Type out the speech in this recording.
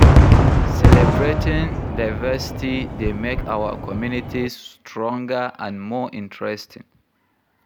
Celebrating diversity dey make our communities stronger and more interesting.